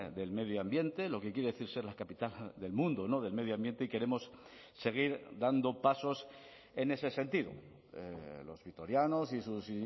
del medio ambiente lo que quiere decir ser la capital del mundo del medio ambiente y queremos seguir dando pasos en ese sentido los vitorianos y sus